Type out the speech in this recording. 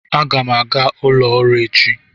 Aga m aga ụlọ ọrụ echi